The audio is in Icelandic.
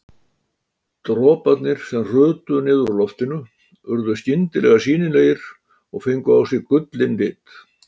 Droparnir sem hrutu niður úr loftinu urðu skyndilega sýnilegir og fengu á sig gullinn lit.